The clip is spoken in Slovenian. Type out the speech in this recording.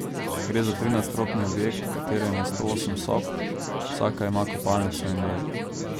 Gre za trinadstropni objekt, v katerem je sto osem sob, vsaka ima kopalnico in ložo.